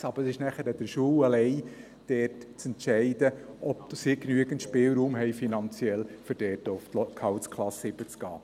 Es ist aber alleine an den Schulen, zu entscheiden, ob sie genügend finanziellen Spielraum haben, um auf Gehaltsklasse 7 zu gehen.